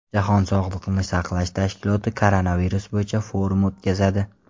Jahon sog‘liqni saqlash tashkiloti koronavirus bo‘yicha forum o‘tkazadi.